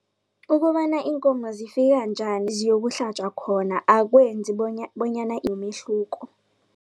Ukobana iinkomo zifika njani ziyokuhlatjwa khona akwenzi bonyana imehluko.